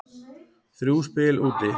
Þrjú spil úti.